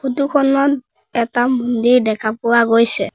ফটোখনত এটা মন্দিৰ দেখা পোৱা গৈছে।